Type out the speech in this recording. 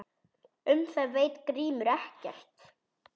Um það veit Grímur ekkert.